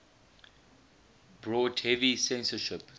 brought heavy censorship